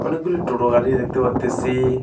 অনেকগুলি টোটো গাড়ি দেখতে পারতেসি।